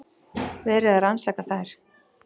Verið er að rannsaka þær